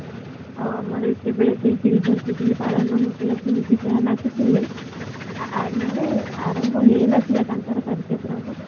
ଆଉ ଆମର ଏତେ ବେଳକୁ ସେଇ silver ଜୁବୁଲି ପାଳନ ହୋଇଥିଲା ସେ ନିଜେ ସେମାନେ ଆସିଥିଲେ ଆର ମାନେ ଆରମ୍ଭ ହେଇନଥିଲା ତାଙ୍କର କାର୍ଯ୍ୟକ୍ରମ